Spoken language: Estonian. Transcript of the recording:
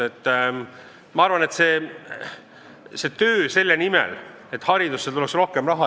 Tuleb teha tööd selle nimel, et haridusse tuleks rohkem raha.